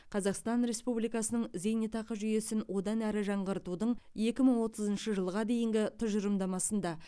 қазақстан республикасының зейнетақы жүйесін одан әрі жаңғыртудың екі мың отызыншы жылға дейінгі тұжырымдамасында